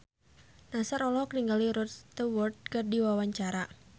Nassar olohok ningali Rod Stewart keur diwawancara